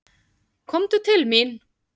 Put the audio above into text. Komdu til mín.